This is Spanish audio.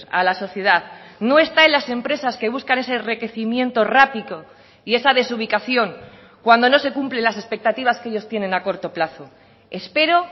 a la sociedad no está en las empresas que buscan ese enriquecimiento rápido y esa desubicación cuando no se cumplen las expectativas que ellos tienen a corto plazo espero